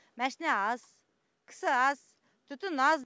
машина аз кісі аз түтін аз